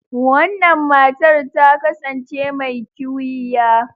Wannan matar ta kasance mai kiwiya.